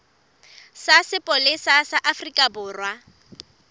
sa sepolesa sa afrika borwa